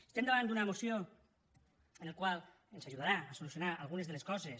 estem davant d’una moció la qual ens ajudarà a solucionar algunes de les coses